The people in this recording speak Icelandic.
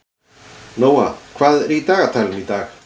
Nóa, hvað er í dagatalinu í dag?